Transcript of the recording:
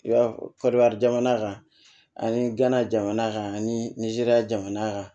I b'a jamana kan ani gana jamana kan anizeriya jamana kan